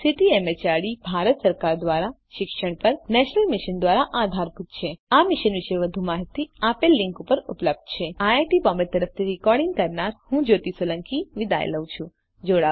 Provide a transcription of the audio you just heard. જે ICT MHRD Bharat સરકાર દ્વારા શિક્ષણ પર નેશનલ મિશન દ્વારા આધારભૂત છે આ મિશન વિશે વધુ માહીતી આ લીંક ઉપર ઉપલબ્ધ છે આઈઆઈટી બોમ્બે તરફથી ભાષાંતર કરનાર હું કૃપાલી પરમાર વિદાય લઉં છું